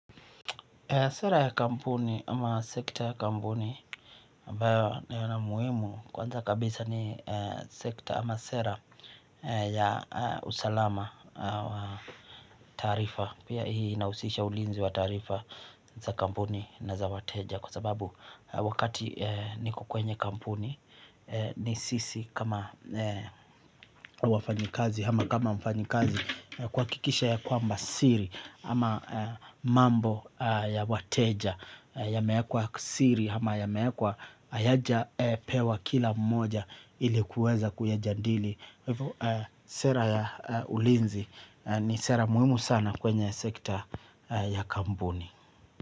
Sera ya kampuni ama sekta ya kampuni ambayo nayona muhimu kwanza kabisa ni sekta ama sera ya usalama wa taarifa pia hii inausisha ulinzi wa taarifa za kampuni na za wateja kwa sababu wakati niko kwenye kampuni ni sisi kama wafanyikazi hama kama mfanyikazi kuwakikisha ya kwamba siri hama mambo ya wateja yameekwa ksiri hama ya meekwa ayaja pewa kila mmoja ilikuweza kuyajandili. Sera ya ulinzi ni sera muhimu sana kwenye sekta ya kambuni.